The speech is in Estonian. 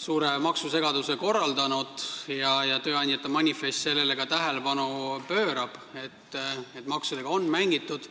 suure maksusegaduse korraldanud, ja tööandjate manifest pöörab ka tähelepanu sellele, et maksudega on mängitud.